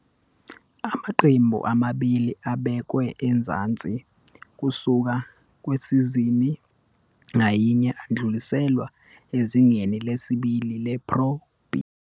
Amaqembu amabili abekwe ezansi kusuka kwisizini ngayinye adluliselwe ezingeni lesibili lePro B.